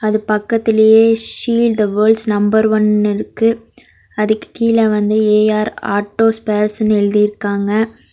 அது பக்கத்லேயே seal the world's number one இருக்கு அதுக்கு கீழ வந்து ஏ_ஆர் ஆட்டோ ஸ்பேர்ஸ்னு எழுதிருக்காங்க.